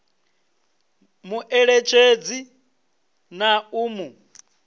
mu eletshedze na u mu